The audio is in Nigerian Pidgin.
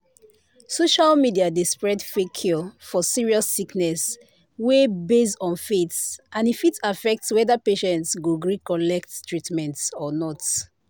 social media dey spread fake cure for serious sickness wey base on faith and e fit affect whether patient go gree collect treatment or not."